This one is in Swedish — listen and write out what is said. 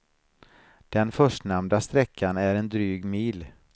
Den förstnämnda sträckan är en dryg mil.